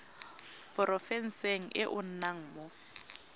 porofenseng e o nnang mo